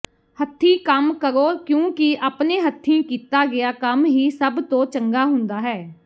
ਹੱਥੀਂ ਕੰਮ ਕਰੋ ਕਿਉਂਕਿ ਆਪਣੇ ਹੱਥੀਂ ਕੀਤਾ ਗਿਆ ਕੰਮ ਹੀ ਸਭ ਤੋਂ ਚੰਗਾ ਹੁੰਦਾ ਹੈ